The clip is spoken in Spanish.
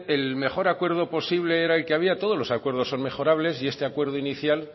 el mejor acuerdo posible era el que había todos los acuerdos son mejorables y este acuerdo inicial